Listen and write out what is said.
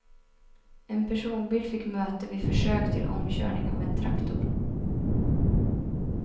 En personbil fick möte vid försök till omkörning av en traktor.